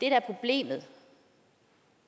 er problemet